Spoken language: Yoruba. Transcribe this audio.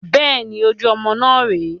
Bẹ́ẹ̀ni, ojú ọmọ náà rè é